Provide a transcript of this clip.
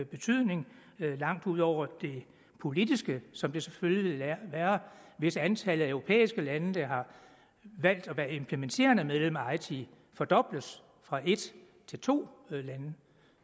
betydning langt ud over det politiske som det selvfølgelig vil være hvis antallet af europæiske lande der har valgt at være implementerende medlemmer af eiti fordobles fra en til to lande